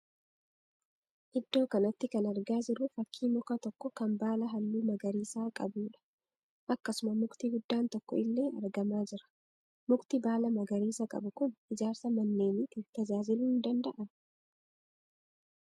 Iddoo kanatti kan argaa jirru fakkii muka tokko kan baala halluu magariisaa qabuudha. Akkasuma mukti guddaan tokko illee argamaa jira. Mukti baala magariisa qabu kun ijaarsa manneeniif tajaajiluu ni danda'aa?